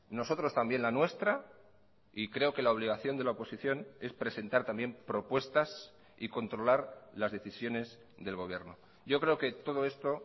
nosotros también la nuestra y creo que la obligación de la oposición es presentar también propuestas y controlar las decisiones del gobierno yo creo que todo esto